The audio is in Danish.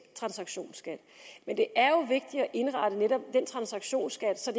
transaktionsskat men det er jo vigtigt at indrette netop den transaktionsskat så